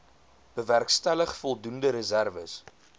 bewerkstellig voldoende reserwes